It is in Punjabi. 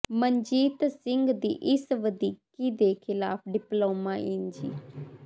ਮਨਜੀਤ ਸਿੰਘ ਦੀ ਇਸ ਵਧੀਕੀ ਦੇ ਖ਼ਿਲਾਫ਼ ਡਿਪਲੋਮਾ ਇੰਜੀ